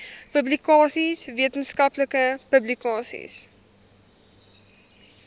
publikasies wetenskaplike publikasies